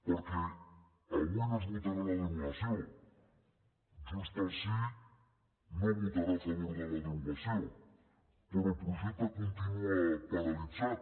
perquè avui no es votarà la derogació junts pel sí no votarà a favor de la derogació però el projecte continua paralitzat